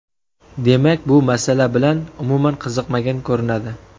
Demak, bu masala bilan umuman qiziqmagan ko‘rinadi.